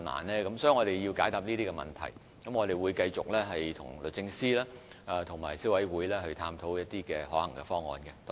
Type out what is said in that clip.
我們需要回應這些問題，亦會繼續與律政司及消委會探討可行方案。